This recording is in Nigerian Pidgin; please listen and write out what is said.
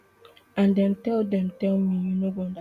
and dem tell dem tell me you no go understand